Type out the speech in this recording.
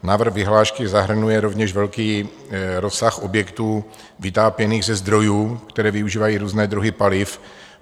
Návrh vyhlášky zahrnuje rovněž velký rozsah objektů vytápěných ze zdrojů, které využívají různé druhy paliv.